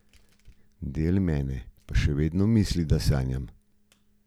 Del mene pa še vedno misli, da sanjam.